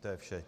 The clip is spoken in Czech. To je vše.